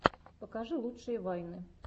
покажи лучшие вайны